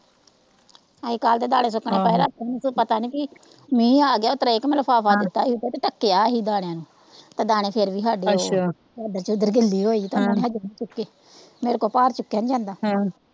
ਅਸੀ ਕਲ ਦੇ ਦਾਣੇ ਸੁੱਕਣੇ ਪਾਏ ਰਾਤੀ ਵੀ ਕੋਈ ਪਤਾ ਨਹੀਂ ਕੀ ਮੀਹ ਆਗਿਆ ਉਸਤਰਾ ਇਹ ਕੇ ਮੈ ਲਿਫ਼ਾਫ਼ਾ ਦਿੱਤਾ ਹੀ ਉੱਤੇ ਤੇ ਢਕਿਆ ਹੀ ਗਾ ਦਾਣਿਆਂ ਨੂੰ ਦਾਣੇ ਫਿਰ ਵੀ ਹਾਡੇ ਉਹ ਚਾਦਰ ਚੁਦਰ ਗਿੱਲੀ ਹੋਈ ਦਾਣੇ ਹਲੇ ਵੀ ਨਹੀਂ ਚੁਕੇ ਮੇਰੇ ਕੋ ਭਰ ਚੁੱਕਿਆ ਨਹੀਂ ਜਾਂਦਾ।